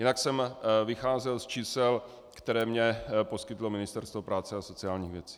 Jinak jsem vycházel z čísel, která mně poskytlo Ministerstvo práce a sociálních věcí.